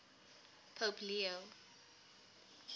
pope leo